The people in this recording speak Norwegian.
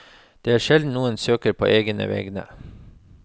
Det er sjelden noen søker på egne vegne.